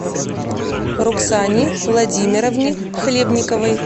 роксане владимировне хлебниковой